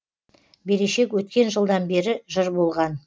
берешек өткен жылдан бері жыр болған